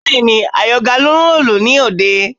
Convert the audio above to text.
Bẹ́ẹ̀ni, Àyàngalú ń lùlù ní òde